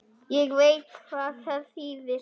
Ég veit hvað það þýðir.